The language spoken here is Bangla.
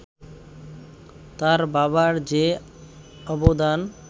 তার বাবার যে অবদান